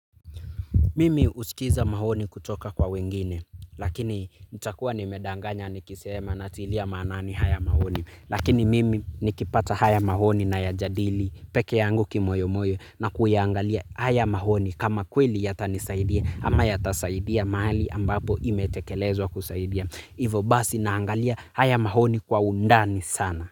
Mimi husikiza maoni kutoka kwa wengine lakini nitakuwa nimedanganya nikisema natilia manani haya maoni lakini mimi nikipata haya maoni nayajadili peke yangu kimoyo moyo na kuyaangalia haya maoni kama kweli yatanisaidia ama yatasaidia mahali ambapo imetekelezwa kusaidia. Ivo basi naangalia haya maoni kwa undani sana.